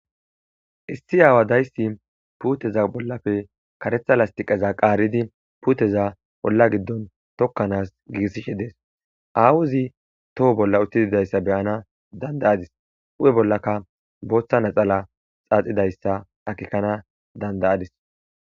issi aawa dayssi puuteza bollafe karetha lastiqeza qaaridi puuteza bolla giddon tokkanaas giissishe dees aawuzi toho bolla uttididayssa beyana dandayadis u7e bollaka booththa naxala xaaxidayssa akikkana dandayadis